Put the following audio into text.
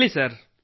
ಹೇಳಿ ಸರ್